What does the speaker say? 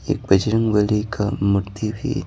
एक बजरंग बली का मूर्ति भी--